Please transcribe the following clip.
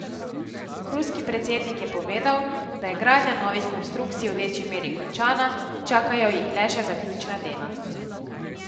Ruski predsednik je povedal, da je gradnja novih konstrukcij v večji meri končana, čakajo jih le še zaključna dela.